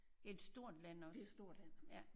Et stort land også ja